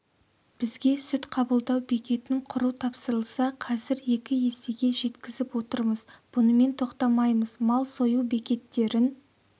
бізге сүт қабылдау бекетін құру тапсырылса қазір екі есеге жеткізіп отырмыз бұнымен тоқтамаймыз мал сою бекеттерін